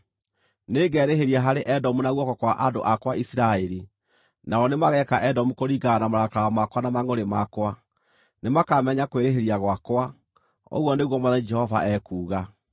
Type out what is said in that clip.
Nĩngerĩhĩria harĩ Edomu na guoko kwa andũ akwa Isiraeli, nao nĩmageeka Edomu kũringana na marakara makwa na mangʼũrĩ makwa; nĩmakamenya kwĩrĩhĩria gwakwa, ũguo nĩguo Mwathani Jehova ekuuga.’ ”